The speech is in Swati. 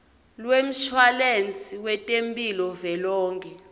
lwemshwalense wetemphilo velonkhe